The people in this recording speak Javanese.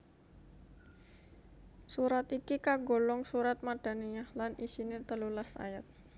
Surat iki kagolong surat Madaniyah lan isine telulas ayat